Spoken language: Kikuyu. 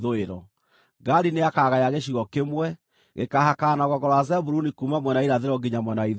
“Gadi nĩakagaya gĩcigo kĩmwe; gĩkaahakana na rũgongo rwa Zebuluni kuuma mwena wa irathĩro nginya mwena wa ithũĩro.